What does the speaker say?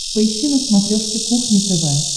поищи на смотрешке кухня тв